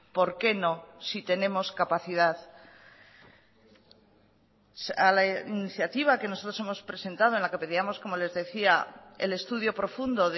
por qué no si tenemos capacidad a la iniciativa que nosotros hemos presentado en la que pedíamos como les decía el estudio profundo